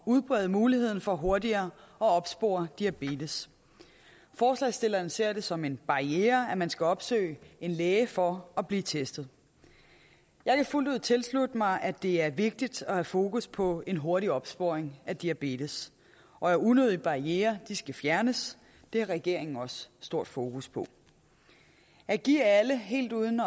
udbrede muligheden for hurtigere at opspore diabetes forslagsstillerne ser det som en barriere at man skal opsøge en læge for at blive testet jeg kan fuldt ud tilslutte mig at det er vigtigt at have fokus på en hurtig opsporing af diabetes og at unødige barrierer skal fjernes det har regeringen også stort fokus på at give alle helt uden